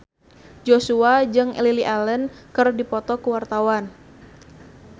Joshua jeung Lily Allen keur dipoto ku wartawan